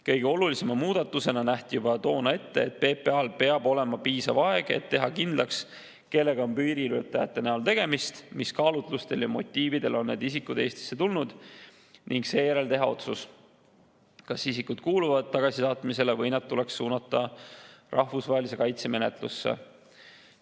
Kõige olulisema muudatusena nähti juba toona ette, et PPA‑l peab olema piisav aeg, et teha kindlaks, kellega on piiriületajate näol tegemist, mis kaalutlustel ja motiividel on need isikud Eestisse tulnud, ning seejärel teha otsus, kas isikud kuuluvad tagasisaatmisele või nad tuleks suunata rahvusvahelise kaitse menetlusse.